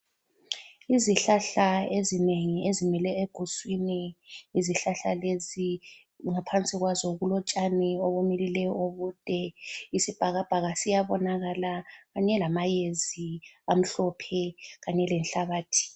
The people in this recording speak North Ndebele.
Izihlahla ezinengi ezimile eguswini. Izihlahla lezi ngaphansi kwazo kulotshani obumilileyo obude. Isibhakabhaka siyabonakala kanye lamayezi amhlophe kanye lenhlabathi.